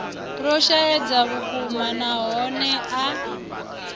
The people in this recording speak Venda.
lwo shaedza vhukuma nahone a